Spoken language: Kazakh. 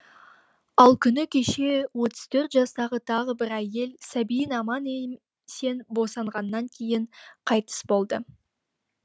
ал күні кеше отыз төрт жастағы тағы бір әйел сәбиін аман есен босанғаннан кейін қайтыс болды